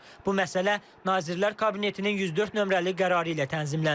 Bu məsələ Nazirlər Kabinetinin 104 nömrəli qərarı ilə tənzimlənir.